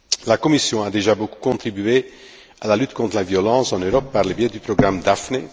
La Commission a déjà beaucoup contribué à la lutte contre la violence en Europe par le biais du programme Daphné.